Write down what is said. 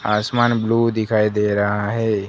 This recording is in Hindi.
आसमान ब्लू दिखाई दे रहा है।